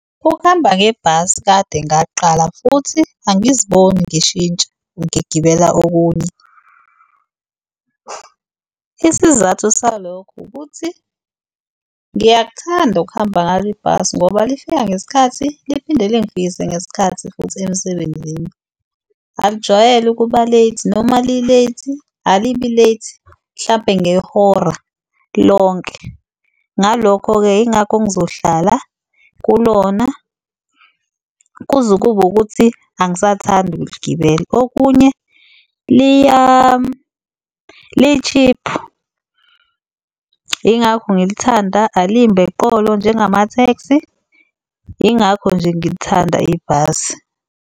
Ukuhamba ngebhasi kade ngakuqala futhi angiziboni ngishintsha ngigibela okunye. Isizathu salokhu ukuthi ngiyakuthanda ukuhamba ngalo ibhasi ngoba lifika ngesikhathi liphinde lingifikise ngesikhathi futhi emsebenzini alijwayele ukuba-late, noma li-late alibi late mhlampe ngehora lonke. Ngalokho-ke, yingakho ngizohlala kulona kuze kube ukuthi angisathandi ukuligibela. Okunye, li-cheap yingakho ngilithanda alimbi eqolo njengama-taxi, yingakho nje ngilithanda ibhasi.